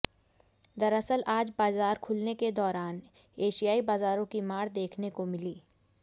दरअसल आज बाजार खुलने के दौरान एशियाइ बाजाराें की मार देखने को मिली